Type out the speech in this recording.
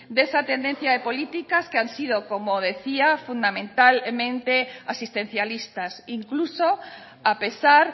de esa tendencia de políticas que han sido como decía fundamentalmente asistencialistas incluso a pesar